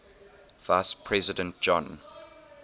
vice president john